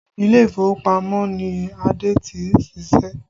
Ilé ìfowópamọ́ ni ade tí ń siṣẹ́